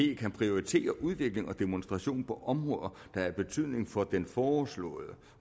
kan prioritere udvikling og demonstration på områder der er af betydning for den foreslåede